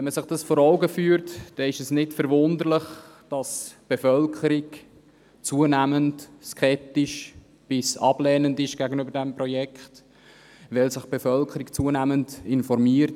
Wenn man sich dies vor Augen führt, ist es nicht verwunderlich, dass die Bevölkerung gegenüber diesem Projekt zunehmend skeptisch bis ablehnend eingestellt ist, weil sich die Bevölkerung zunehmend informiert.